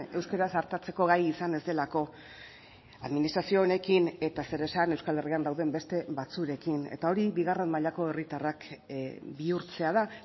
euskaraz artatzeko gai izan ez delako administrazio honekin eta zer esan euskal herrian dauden beste batzuekin eta hori bigarren mailako herritarrak bihurtzea da